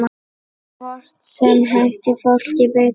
Hvort sem henti fólki betur.